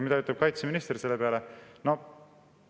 Mida ütles kaitseminister selle peale?